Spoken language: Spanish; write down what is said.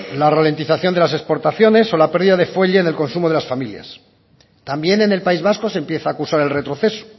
la ralentización de las exportaciones o la pérdida de fuelle en el consumo de las familias también en el país vasco se empieza a acusar el retroceso